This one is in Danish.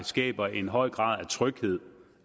skaber en høj grad af tryghed